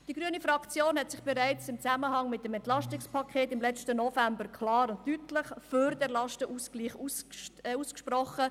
Die grüne Fraktion hat sich bereits im Zusammenhang mit dem EP im letzten November klar und deutlich für den Lastenausgleich ausgesprochen.